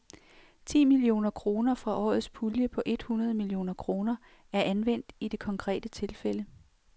Ti millioner kroner fra årets pulje på et hundrede millioner kroner er anvendt i det konkrete tilfælde.